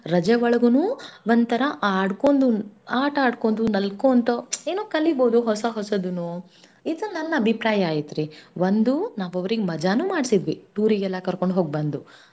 ರಜೇ ಒಳಗುನೂ ಒಂತರಾ ಆಡ್ಕೊದ್~ ಆಟಾಡ್ಕೊಂದು ನಲ್ಕೋಂತ ಏನೋ ಕಲೀಬೌದು ಹೊಸ ಹೊಸದುನೂ. ಇದು ನನ್ ಅಬಿಪ್ರಾಯ ಐತ್ರಿ. ಒಂದು ನಾವ್ ಅವ್ರಿಗ್ ಮಾಡ್ಸಿದ್ವಿ. tour ಗೆಲ್ಲಾ ಕರ್ಕೊಂಡ್ ಹೋಗ್ಬಂದು.